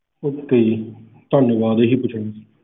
okay ਜੀ ਧੰਨਵਾਦ ਜੀ